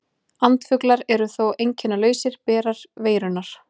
Andfuglar eru þó einkennalausir berar veirunnar.